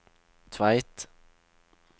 Tveit